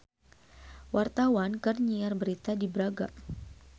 Wartawan keur nyiar berita di Braga